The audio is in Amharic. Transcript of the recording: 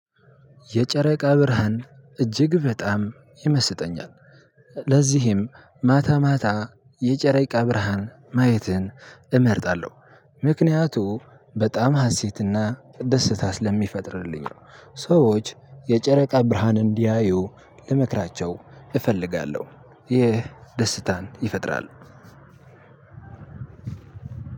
የጨረቃ ብርሃን እጅግ በጣም ይመስጠኛል ለዝህም ማታ ማታ የጨረቃ ብርሃን ማየትን እመርጣለሁ ምክንያቱም በጣም ሀሴት እና ደሲታ ስለሚፈጥርልኝ ነው። ሰዎች የጨረቃ ብርሃንን እንዲያዩ ልመክራቸው እፈልጋለው። ይህ ደስታን ይፈጥራል።